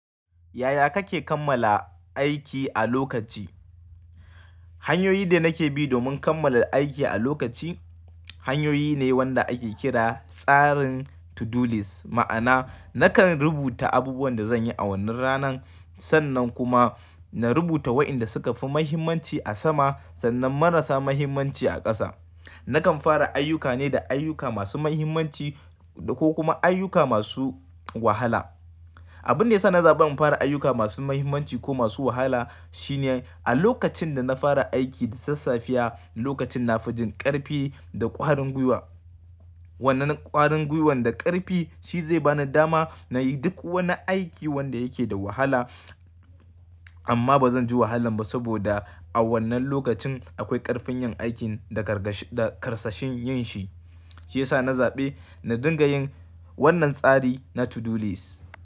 Yaya kake kammala aiki a lokaci? Hanyoyi da nake bi domin kammala aiki a lokaci hanyoyi ne wanda ake kira tsarin to-do list. Ma'ana nakan rubuta abubuwan da zan yi a wannan ranan. Sannan kuma na rubuta wa'inda suka fi muhimmanci a sama, sannan marasa muhimmanci a ƙasa. Nakan fara ayuka ne da ayuka masu muhimmanci ko kuma ayuka masu wahala. Abun da yasa na zaɓin fara ayuka masu muhimmanci ko masu wahala shine a lokacin da na fara aiki da sassafiya lokacin na fi jin ƙarfi da ƙwarin gwiwa. Wannan ƙwarin gwiwan da ƙarfi shi zai bani dama na yi duk wani aiki wanda yake da wahala. Amma ba zan ji wahalan ba saboda a wannan lokacin akwai ƙarfin yin aikin da karsashin yin shi. Shi yasa na zaɓe na dinga yin wannan tsari na to-do list.